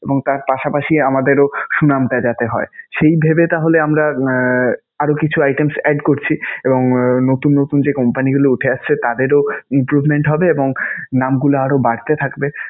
এবং তার পাশাপাশি আমাদেরও সুনামটা যাতে হয়. সেই ভেবে তাহলে আমরা আহ আরও কিছু items add করছি এবং নতুন নতুন যে company গুলো উঠে আসছে তাদেরও improvement হবে এবং নামগুলো আরও বাড়তে থাকবে.